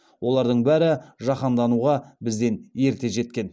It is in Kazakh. олардың бәрі жаһандануға бізден ерте жеткен